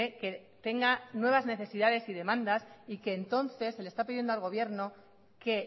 que tenga nuevas necesidades y demandas y que entonces se le está pidiendo al gobierno que